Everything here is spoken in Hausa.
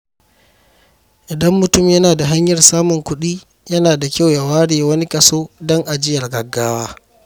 Idan mutum yana da hanyar samun kuɗi, yana da kyau ya ware wani kaso don ajiyar gaggawa.